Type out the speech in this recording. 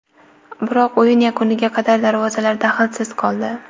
Biroq o‘yin yakuniga qadar darvozalar dahlsiz qoldi.